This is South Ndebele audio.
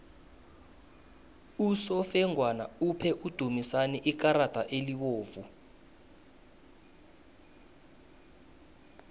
usofengwana uphe udumisani ikarada elibovu